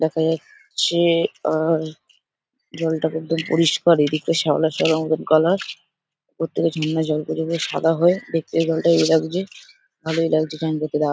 দেখা যাচ্ছে-এ আ জলটা কিন্তু পরিষ্কার এদিকটা শ্যাওলা শ্যাওলা মতন কালার ওপর থেকে ঝর্ণার জলগুলো বেশ সাদা হয়ে দেখতে জলটা ইয়ে লাগছে। ভালোই লাগছে চান করতে দাও --